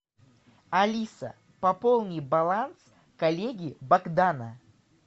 алиса пополни баланс коллеги богдана